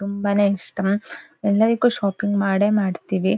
ತುಂಬಾನೇ ಇಷ್ಟ ಎಲ್ಲದಕ್ಕೂ ಶಾಪಿಂಗ್ ಮಾಡೇ ಮಾಡ್ತಿವಿ .